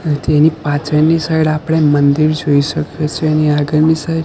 અ તેની પાછળની સાઈડ આપડે મંદિર જોઈ શકીયે છે એની આગળની સાઈડ --